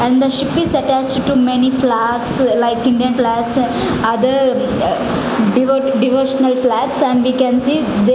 and the ship is attached to many flags like Indian flags other divo devotional flags and we can see the --